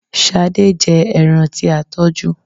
Ṣadé jẹ ẹran tí a tọ́jú.